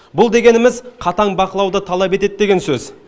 бұл дегеніміз қатаң бақылауды талап етеді деген сөз